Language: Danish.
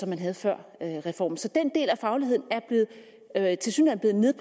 man havde før reformen så den del af fagligheden er tilsyneladende